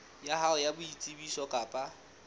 ya hao ya boitsebiso kapa